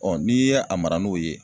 n'i ye a mara n'o ye